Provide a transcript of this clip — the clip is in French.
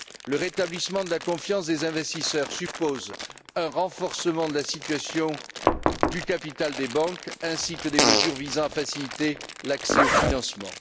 Le rétablissement de la confiance des investisseurs suppose un renforcement de la situation du capital des banques ainsi que des mesures visant à faciliter l'accès au financement.